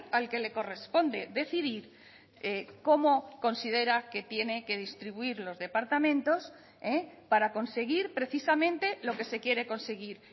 al que le corresponde decidir cómo considera que tiene que distribuir los departamentos para conseguir precisamente lo que se quiere conseguir